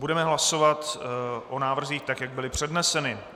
Budeme hlasovat o návrzích, tak jak byly předneseny.